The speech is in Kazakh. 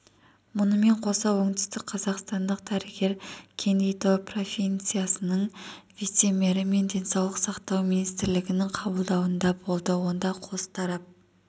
мұнымен қоса оңтүстікқазақстандық дәрігер кенгидо провинциясының вице-мері мен денсаулық сақтау министрінің қабылдауында болды онда қос тарап